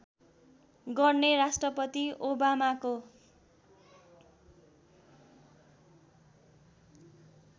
गर्ने राष्ट्रपति ओबामाको